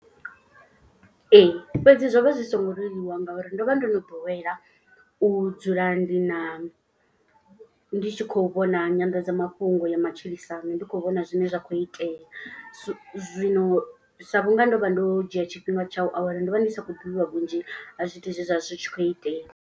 Ee fhedzi zwo vha zwi songo leluwa ngauri ndo vha ndo no ḓowela u dzula ndi na ndi tshi khou vhona nyanḓadzamafhungo ya matshilisano. Ndi khou vhona zwine zwa khou itea so zwino sa vhunga ndo vha ndo dzhia tshifhinga tshau awela. Ndo vha ndi sa khou ḓivha vhunzhi ha zwithu zwe zwa zwi tshi khou itea.